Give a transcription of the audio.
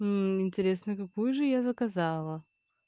мм интересно какую же я заказала